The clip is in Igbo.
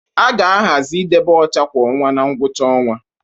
A ga-ahazi idebe ọcha kwa ọnwa na ngwụcha ọnwa